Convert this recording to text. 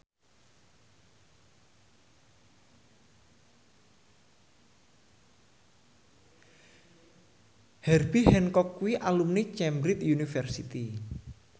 Herbie Hancock kuwi alumni Cambridge University